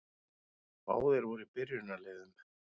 Báðir voru í byrjunarliðum.